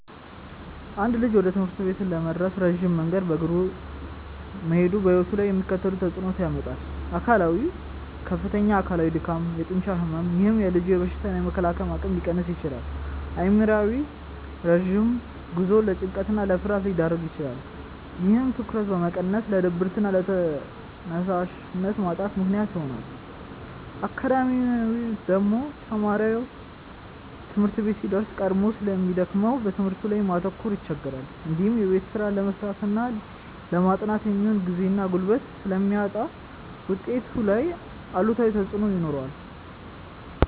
አንድ ልጅ ወደ ትምህርት ቤት ለመድረስ ረጅም መንገድ በእግሩ መሄዱ በሕይወቱ ላይ የሚከተሉትን ተጽዕኖዎች ያመጣል፦ አካላዊ፦ ከፍተኛ አካላዊ ድካም፣ የጡንቻ ሕመም፥፥ ይህም የልጁን በሽታ የመከላከል አቅም ሊቀንስ ይችላል። አእምሯዊ፦ ረጅም ጉዞው ለጭንቀትና ለፍርሃት ሊዳርግ ይችላል። ይህም ትኩረትን በመቀነስ ለድብርትና ለተነሳሽነት ማጣት ምክንያት ይሆናል። አካዳሚያዊ፦ ተማሪው ትምህርት ቤት ሲደርስ ቀድሞ ስለሚደክመው በትምህርቱ ላይ ማተኮር ይቸገራል። እንዲሁም የቤት ስራ ለመስራትና ለማጥናት የሚሆን ጊዜና ጉልበት ስለሚያጣ ውጤቱ ላይ አሉታዊ ተጽዕኖ ይኖረዋል።